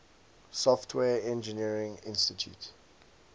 software engineering institute